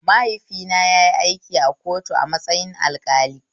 Mahaifina yayi aiki a kotu a matsayin alƙali